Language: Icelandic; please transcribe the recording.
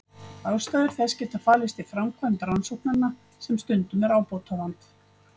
Ástæður þess geta falist í framkvæmd rannsóknanna sem stundum er ábótavant.